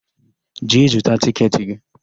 Jee zụta tịketị gị!